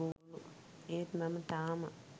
ඒත් මම තාම